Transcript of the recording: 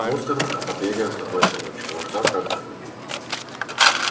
ну старушка побегаем с тобой эту ночку а уж завтра отдохнём